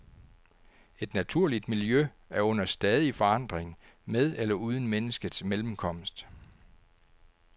Et naturligt miljø er under stadig forandring, med eller uden menneskets mellemkomst.